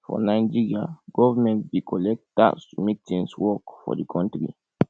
for nigeria government dey collect tax to make things work for di country